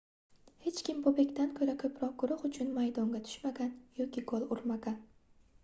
hech kim bobekdan koʻra koʻproq guruh uchun maydonga tushmagan yoki gol urmagan